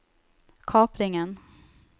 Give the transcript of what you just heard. kapringen